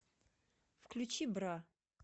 включи бра